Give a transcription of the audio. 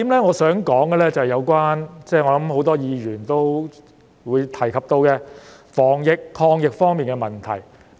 我想說的第一點，是有關——我想很多議員都會提及到的——防疫抗疫方面的問題。